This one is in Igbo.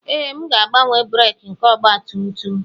Ee, m ga-agbanwe breeki nke ọgba tum tum